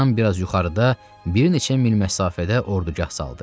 Teandan biraz yuxarıda bir neçə mil məsafədə ordugah saldı.